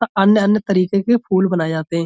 अन्य तरीके के फूल बनाए जाते हैं।